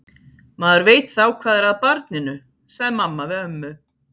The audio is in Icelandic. Maður veit þá hvað er að barninu, sagði mamma við ömmu.